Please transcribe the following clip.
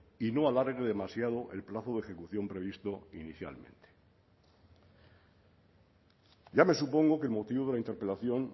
y no alargue demasiado el plazo de ejecución previsto inicialmente ya me supongo que el motivo de la interpelación